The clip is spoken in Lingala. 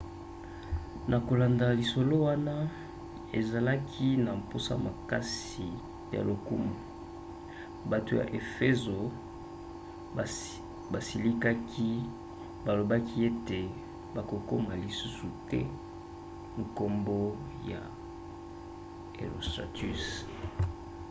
na kolanda lisolo wana azalaki na mposa makasi ya lokumu. bato ya efezo basilikaki balobaki ete bakokoma lisusu te nkombo ya herostratus